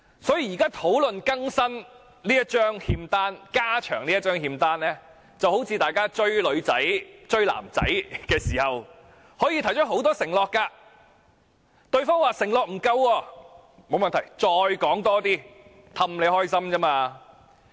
所以，議會現時討論更新、加長這張欠單，就好像大家"追女仔"、"追男仔"時，可以提出很多承諾；如果對方說承諾不夠，沒問題，再加多些哄他們開心。